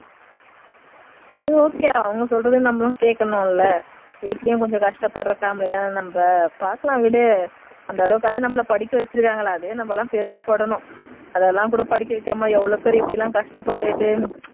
சரி okay அவங்க சொல்றதையும் நம்மளும் கேட்கணும் இல்ல வீட்லயும் கொஞ்சம் கஷ்டப்படுற family தானே நம்ம பாக்கலாம் விடு அந்த அளவுக்குவாவது நம்மள படிக்க வச்சிருக்காங்களே அதுவே நம்ம எல்லாம் பெருமைப்படணும் அதெல்லாம் கூட படிக்க வைக்காமல் எவ்வளவு பேரு கஷ்டப்பட்டுட்டு